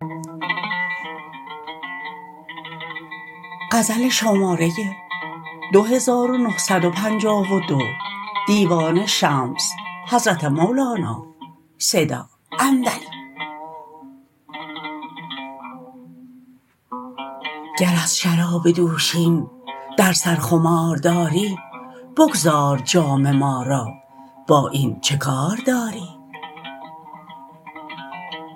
گر از شراب دوشین در سر خمار داری بگذار جام ما را با این چه کار داری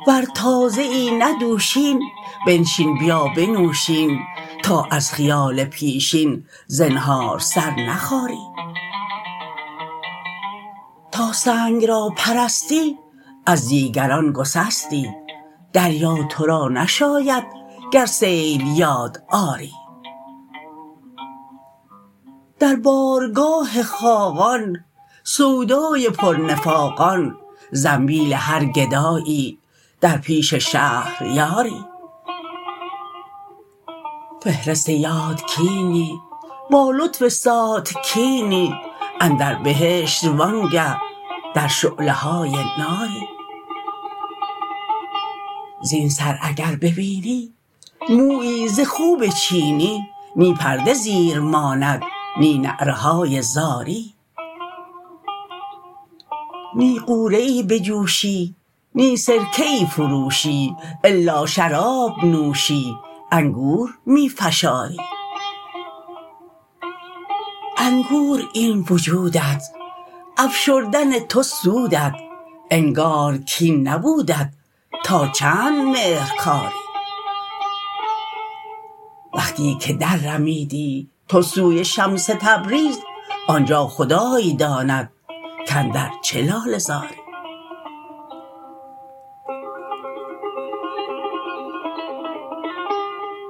ور تازه ای نه دوشین بنشین بیا بنوش این تا از خیال پیشین زنهار سر نخاری تا سنگ را پرستی از دیگران گسستی دریا تو را نشاید گر سیل یاد آری در بارگاه خاقان سودای پرنفاقان زنبیل هر گدایی در پیش شهریاری فهرست یاد کینی با لطف ساتکینی اندر بهشت وآنگه در شعله های ناری زین سر اگر ببینی مویی ز خوب چینی نی پرده زیر ماند نی نعره های زاری نی غوره ای بجوشی نی سرکه ای فروشی الا شراب نوشی انگور می فشاری انگور این وجودت افشردن تو سودت انگار کین نبودت تا چند مهر کاری وقتی که دررمیدی تو سوی شمس تبریز آن جا خدای داند کاندر چه لاله زاری